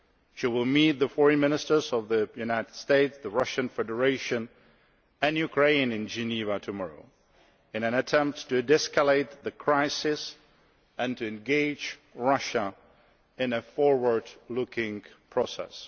She will meet the Foreign Ministers of the United States, the Russian Federation and Ukraine in Geneva tomorrow, in an attempt to de escalate the crisis and to engage Russia in a forward looking process.